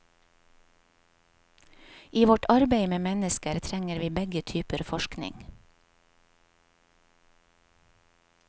I vårt arbeid med mennesker trenger vi begge typer forskning.